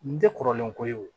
N tɛ kɔrɔlen ko ye wo